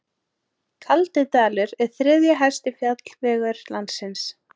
Kaldidalur er þriðji hæsti fjallvegur landsins.